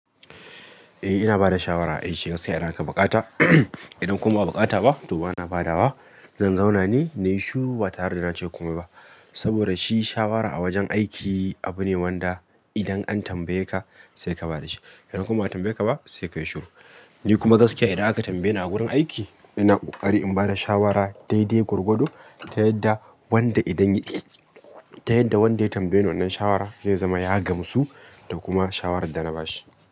Eh ina bada shawara, ai shi gaskiya idan aka buƙata idan kuma ba'a buƙata ba to bana badawa. Zan zauna ne, na yi shiru ba tare da na ce komai ba. Saboda shi shawara a wajen aiki abu ne wanda idan an tambaye ka sai ka bada shi. Idan kuma ba a tambaye ka ba sai ka yi shiru. Ni kuma gaskiya idan aka tambaye ni a wurin aiki ina ƙoƙari in bada shawara daidai gwargwado ta yadda wanda idan yayi, ta yadda wanda ya tambaye ni wannan shawara zai zama ya gamsu da kuma shawarar da na bashi.